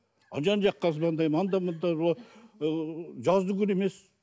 жан жаққа звондаймын анда мында жаздыгүні емес